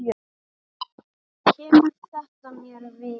Kemur þetta mér við?